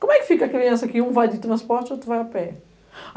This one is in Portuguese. Como é que fica a criança que um vai de transporte e outro vai a pé?